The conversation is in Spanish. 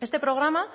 este programa